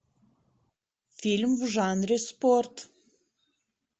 фильм в жанре спорт